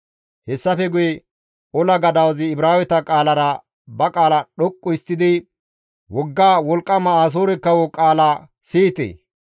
Hessafe guye ola gadawazi Ibraaweta qaalara ba qaala dhoqqu histtidi, «Wogga wolqqama Asoore kawo qaala siyite!